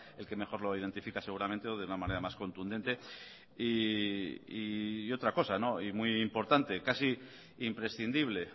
el que mejor lo identifica seguramente de una manera más contundente y otra cosa y muy importante casi imprescindible